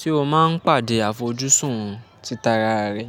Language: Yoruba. Ṣé o máa ń pàdé àfojúsùn títa ra rẹ?